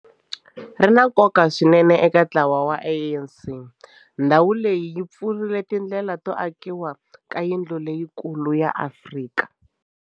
Ri na nkoka swinene eka ntlawa wa ANC, naswona ndhawu leyi yi pfurile tindlela to akiwa ka yindlu leyikulu ya Afrika.